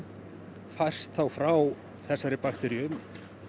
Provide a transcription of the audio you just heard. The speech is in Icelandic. færst þá frá þessari bakteríu